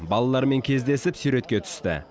балалармен кездесіп суретке түсті